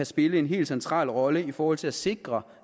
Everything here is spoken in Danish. spille en helt central rolle i forhold til at sikre